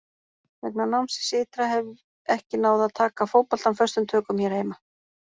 Vegna námsins ytra hef ekki náð að taka fótboltann föstum tökum hér heima.